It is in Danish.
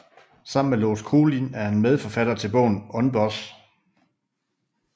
Sammen med Lars Kolind er han medforfatter til bogen UNBOSS